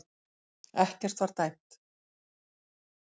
Ekkert var dæmt